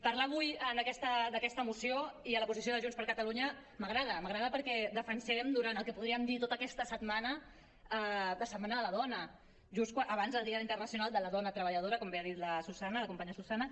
parlar avui d’aquesta moció i de la posició de junts per catalunya m’agrada m’agrada perquè defensem durant el que podríem dir tota aquesta setmana la setmana de la dona just abans del dia internacional de la dona treballadora com bé ha dit la susanna la companya susanna